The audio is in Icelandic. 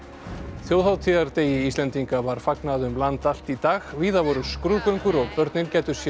þjóðhátíðardegi Íslendinga var fagnað um land allt í dag víða voru skrúðgöngur og börnin gæddu sér